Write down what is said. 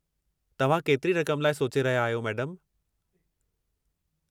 तव्हां केतिरी रक़मु लाइ सोचे रहिया आहियो मैडमु?